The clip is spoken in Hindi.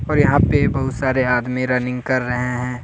और यहां पे बहुत सारे आदमी रनिंग कर रहे हैं।